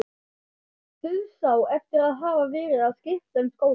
Dauðsá eftir að hafa verið að skipta um skóla.